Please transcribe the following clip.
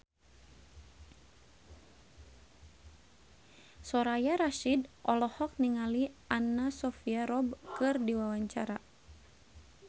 Soraya Rasyid olohok ningali Anna Sophia Robb keur diwawancara